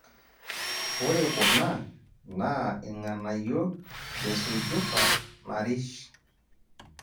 Ore kuna naa irng'anayio lesujuta narish